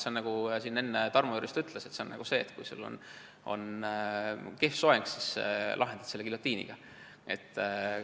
Sellega on nii, nagu Tarmo Jüristo enne ütles, et kui sul on kehv soeng, siis lahendad selle giljotiiniga.